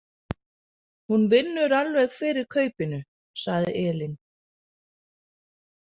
Hún vinnur alveg fyrir kaupinu, sagði Elín.